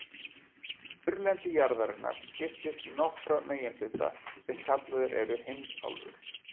Þurrlendi jarðarinnar skiptist í nokkra meginhluta sem kallaðir eru heimsálfur.